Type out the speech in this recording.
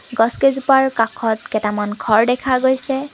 গছ কেইজোপাৰ কাষত কেইটামান ঘৰ দেখা গৈছে।